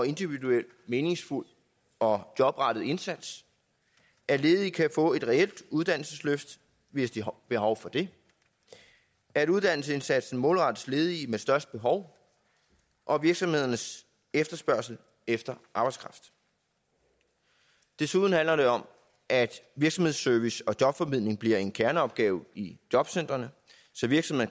individuel meningsfuld og jobrettet indsats at ledige kan få et reelt uddannelsesløft hvis de har behov for det at uddannelsesindsatsen målrettes ledige med størst behov og virksomhedernes efterspørgsel efter arbejdskraft desuden handler det om at virksomhedsservice og jobformidling bliver en kerneopgave i jobcentrene